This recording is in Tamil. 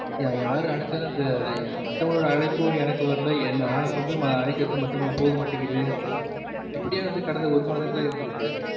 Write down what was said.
யாரு அழைச்சலும் அந்த மத்தவங்களோட அழைப்பும் எனக்கு வரல, நா வந்து அழைக்கிறதும் மத்தவங்களுக்கு போகமாட்டருக்கு இப்படியே வந்து கடந்த ஒரு மாதங்களா இருந்து இருக்கு